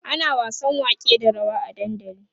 ana wasan wake da rawa a dandali